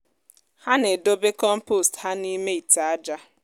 ha na-edobe kọmpost ha n’ime ite aja.